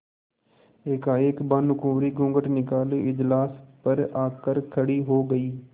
एकाएक भानुकुँवरि घूँघट निकाले इजलास पर आ कर खड़ी हो गयी